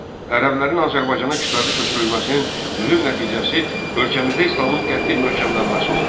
Ərəblərin Azərbaycana kütləvi köçürülməsinin mühüm nəticəsi ölkəmizdə İslamın qəti möhkəmlənməsi oldu.